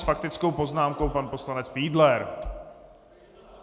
S faktickou poznámkou pan poslanec Fiedler.